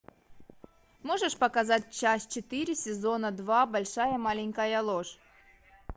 можешь показать часть четыре сезона два большая маленькая ложь